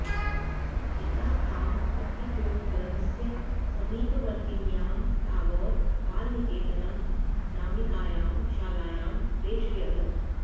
पिता तां पठितुं गृहस्य समीपवर्तिन्यां टागोर बालनिकेतन नामिकायां शालायां प्रैषयत्